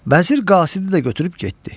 Vəzir qasidi də götürüb getdi.